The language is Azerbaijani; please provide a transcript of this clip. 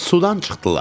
Sudan çıxdılar.